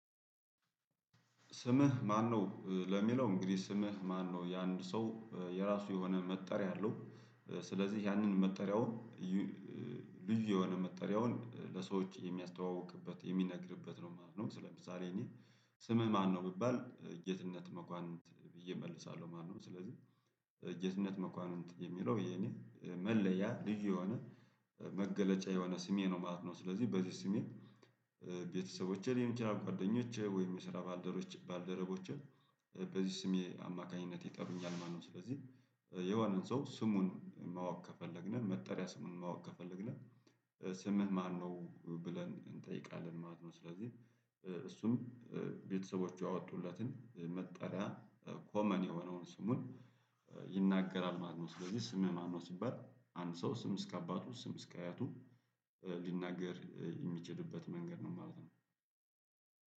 ስምህ ማነው? ለሚለው እንግዲህ ስምህ ማነው የአንድ ሰው የራሱ የሆነ መጠሪያ አለው ስለዚህ ያንን መጠሪያውን ልዩ የሆነ መጠሪያውን ለሰዎች የሚያስተዋውቅበት የሚነግርበት ነው ማለት ነው። ስለምሳሌ እኔ ስምህ ማነው ብባል ጌትነት መኳንንት ብዬ እመልሳለሁ ማለት ነው። ስለዚህ ጌትነት መኳንንት የሚለው የኔ መለያ ልዩ የሆነ መገለጫ የሆነ ስሜ ነው ማለት ነው። ስለዚህ በዚህ ስሜ ቤተሰቦቼ ሊሆን ይችላል ጓደኞቼ ወይም የስራ ባልደረቦቼ በዚህ ስሜ አማካኝነት ይጠሩኛል ማለት ነው። ስለዚህ የሆነን ሰው ስሙን ማወቅ ከፈለግን መጠሪያ ስሙን ማወቅ ከፈለግን ስምህ ማነው ብለን እንጠይቃለን ማለት ነው። ስለዚህ እሱም ቤተሰቦቹ ያወጡለትን መጠሪያ ኮመን የሆነውን ስሙን ይናገራል ማለት ነው። ስለዚህ ስም ማለት ነው ሲባል አንድ ሰው ስም እስከ አባቱ ስም እስከ አያቱ ሊናገር የሚችልበት መንገድ ነው ማለት ነው።